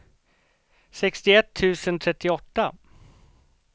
sextioett tusen trettioåtta